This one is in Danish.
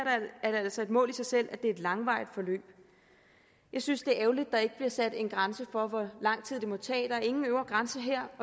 er det altså et mål i sig selv at det er et langtvarigt forløb jeg synes det er ærgerligt at der ikke bliver sat en grænse for hvor lang tid det må tage der er ingen øvre grænse her